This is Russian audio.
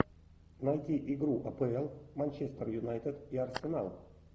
найти игру апл манчестер юнайтед и арсенал